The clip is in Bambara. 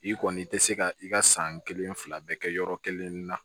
I kɔni i tɛ se ka i ka san kelen fila bɛɛ kɛ yɔrɔ kelen na